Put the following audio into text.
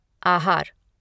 आहार